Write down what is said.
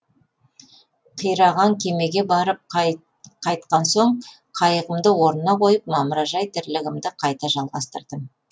қираған кемеге барып қайтқан соң қайығымды орнына қойып мамыражай тірлігімді қайта жалғастырдым